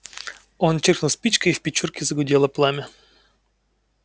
он чиркнул спичкой и в печурке загудело пламя